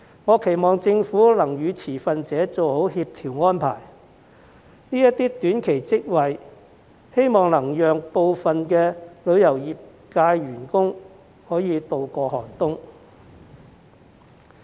我期望政府能與持份者做好協調安排，希望這些短期職位能讓部分旅遊業界員工渡過寒冬。